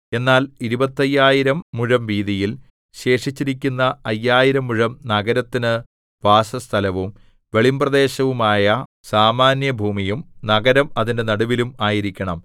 എന്നാൽ ഇരുപത്തയ്യായിരം മുഴം വീതിയിൽ ശേഷിച്ചിരിക്കുന്ന അയ്യായിരം മുഴം നഗരത്തിനു വാസസ്ഥലവും വെളിമ്പ്രദേശവുമായ സാമാന്യഭൂമിയും നഗരം അതിന്റെ നടുവിലും ആയിരിക്കണം